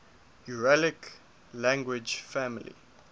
uralic language family